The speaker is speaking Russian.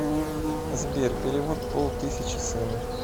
сбер перевод пол тысячи сыну